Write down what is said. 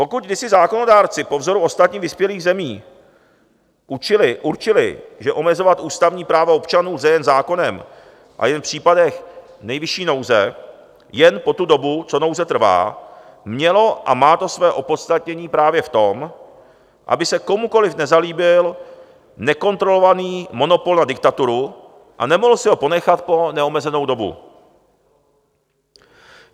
Pokud kdysi zákonodárci po vzoru ostatních vyspělých zemí určili, že omezovat ústavní práva občanů lze jen zákonem a jen v případech nejvyšší nouze, jen po tu dobu, co nouze trvá, mělo a má to své opodstatnění právě v tom, aby se komukoliv nezalíbil nekontrolovaný monopol na diktaturu a nemohl si ho ponechat po neomezenou dobu.